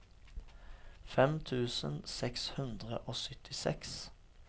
fem tusen seks hundre og syttiseks